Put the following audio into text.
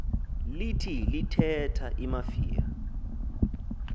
lithi lithetha imafia